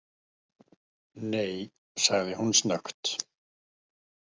Nei, sagði hún snöggt.